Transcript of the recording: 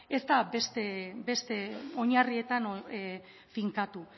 ez da beste oinarrietan finkatu